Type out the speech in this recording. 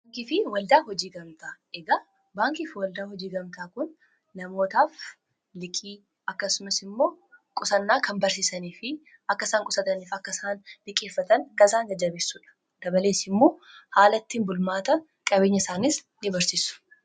Baankii fi waldaa hojii gamtaa: Egaa baankii fi waldaa hojii gamtaa kun namootaaf liqii akkasumas immoo qusannaa kan barsiisanii fi akkasaan qusataniif akkaisaan liqeeffatan kanisaan jajjabeessuudha dabaleessi immoo haalattiin bulmaata qabeenya isaanis in barsiisu.